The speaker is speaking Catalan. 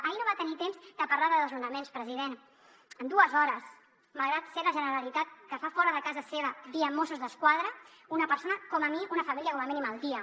ahir no va tenir temps de parlar de desnonaments president en dues hores malgrat ser la generalitat que fa fora de casa seva via mossos d’esquadra una família com a mínim al dia